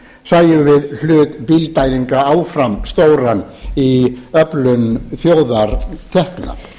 sæjum við hlut bílddælinga áfram stóran í öflun þjóðartekna